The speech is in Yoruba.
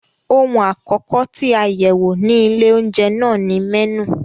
Ohun àkọ́kọ́ tí a yẹ̀wò ní ilé-oúnjẹ náà ni mẹ́nù.